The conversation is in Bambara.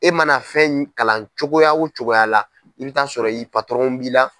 E mana fɛn in kalan cogoya wo cogoya la i bi t'a sɔrɔ b'i la.